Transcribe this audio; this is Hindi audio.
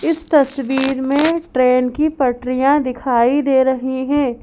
इस तस्वीर में ट्रेन की पटरियाँ दिखाई दे रही हैं।